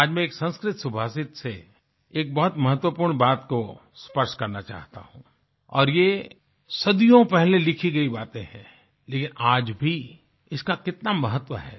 आज मैं एक संस्कृत सुभाषित से एक बहुत महत्वपूर्ण बात को स्पर्श करना चाहता हूँ और ये सदियों पहले लिखी गई बातें हैं लेकिन आज भी इसका कितना महत्व है